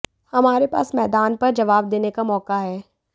हमारे पास मैदान पर जवाब देने का मौका है